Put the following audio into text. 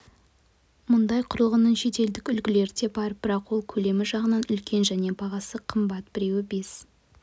мұндай құрылғының шетелдік үлгілері де бар бірақ ол көлемі жағынан үлкен және бағасы қымбат біреуі бес